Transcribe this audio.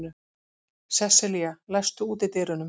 Sesselía, læstu útidyrunum.